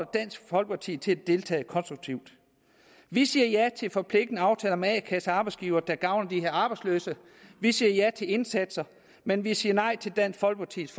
dansk folkeparti til at deltage konstruktivt vi siger ja til forpligtende aftaler med a kasser og arbejdsgivere som kan gavne de arbejdsløse vi siger ja til indsatser men vi siger nej til dansk folkepartis